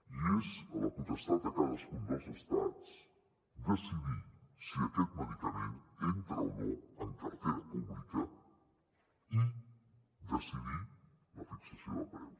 i és la potestat de cadascun dels estats decidir si aquest medicament entra o no en cartera pública i decidir la fixació de preu